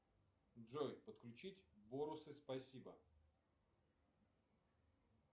джой подключить бонусы спасибо